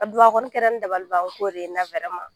A don a kɔni kɛra n na dabalibanko de ye